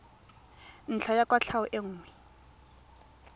ntlha ya kwatlhao e nngwe